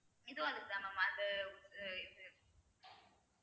இதுவும் அதுக்குதான் mam அந்த இது